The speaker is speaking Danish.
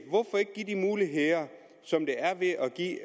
give de muligheder som der er i at give